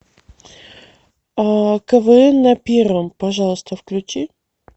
квн на первом пожалуйста включи